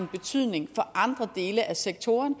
betydning for andre dele af sektoren